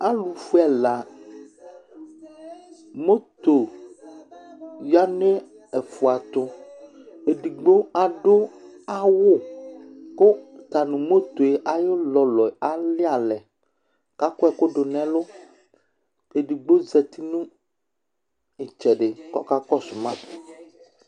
Alʋfue ɛla, moto ya nʋ ɛfʋa tʋ Edigbo adʋ awʋ kʋ ɔta nʋ moto yɛ ayʋ ʋlɔlɔ alɩ alɛ Akɔ ɛkʋ dʋ nʋ ɛlʋ, kʋ edigbo zǝtɩ nʋ ɩtsɛdɩ kʋ ɔka kɔsʋ ma